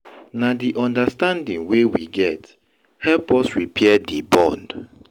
Na di understanding wey we get help us repair di bond.